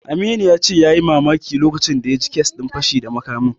Aminu ya ce yayi mamaki lokacin da ya ji kes din fashi da makamin.